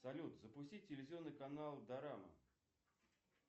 салют запусти телевизионный канал дорама